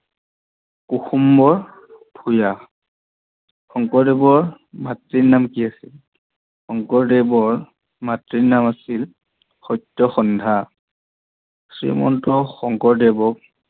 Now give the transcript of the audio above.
কুসুম্বৰ ভূঞা শংকৰদেৱৰ মাতৃৰ নাম কি অছিল? শংকৰদেৱৰ মাতৃ নাম আছিল সত্যসন্ধা। শ্ৰীমন্ত শংকৰদেৱক